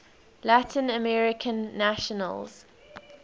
latin american nations